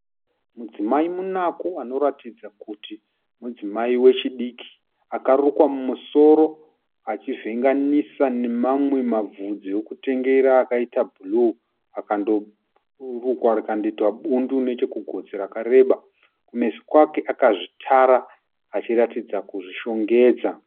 Mudzimai munaku anoratidza kuti mudzimai wechidiki akarukwa mumusoro achivhenganisa nemamwe mabvudzi ekutengera akaita bhuruu akandorukwa rindokundoitwa bundu nechekugotsi rakareba. Kumeso kwake akazvitara achiratidza kuzvishongedza.